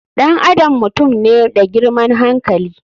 Ɗan adam mutum ne da girman hankali.